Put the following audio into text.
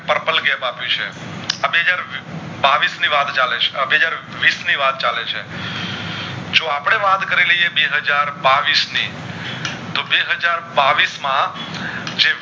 Purple Cap આપેછે આ બેહજાર બાવીશ ની વાત ચાલે છે આ બે હાજર વિસ ની વાત ચાલે છે જો આપડે વાત કરી લાયે બે હાજર બાવીશ ની તો બે હાજર બાવીશ માં જે